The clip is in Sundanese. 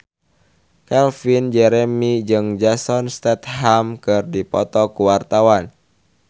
Calvin Jeremy jeung Jason Statham keur dipoto ku wartawan